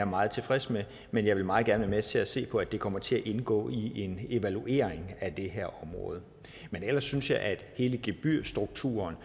meget tilfreds med men jeg vil meget gerne være med til at se på at det kommer til at indgå i en evaluering af det her område men ellers synes jeg at hele gebyrstrukturen